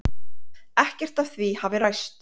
Ekkert af því hafi ræst.